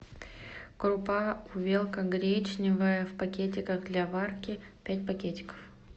крупа увелка гречневая в пакетиках для варки пять пакетиков